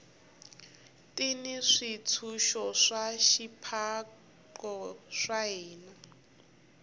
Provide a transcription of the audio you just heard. ti ni swintshuxo swa swipaqo swa hina